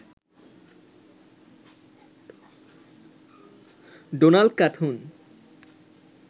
Donald Knuth